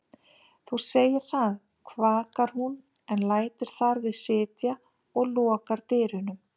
Þú segir það, kvakar hún en lætur þar við sitja og lokar dyrunum.